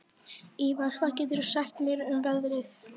Ívar, hvað geturðu sagt mér um veðrið?